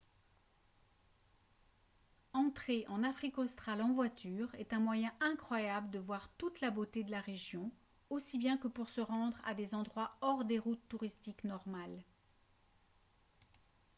entrer en afrique australe en voiture est un moyen incroyable de voir toute la beauté de la région aussi bien que pour se rendre à des endroits hors des routes touristiques normales